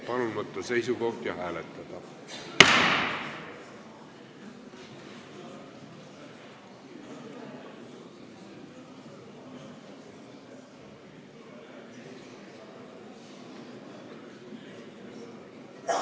Palun võtta seisukoht ja hääletada!